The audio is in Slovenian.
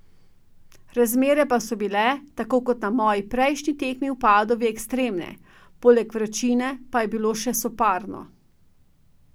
Razmere pa so bile, tako kot na moji prejšnji tekmi v Padovi, ekstremne, poleg vročine pa je bilo še soparno.